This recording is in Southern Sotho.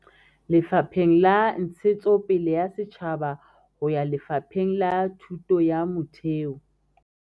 Lefapheng la Ntshetsopele ya Setjhaba ho ya Lefapheng la Thuto ya Motheo.